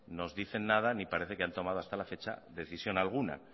nos dice nada ni parece que han tomado hasta la fecha decisión alguna